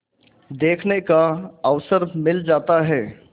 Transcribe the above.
देखने का अवसर मिल जाता है